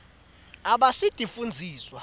abasitifundziswa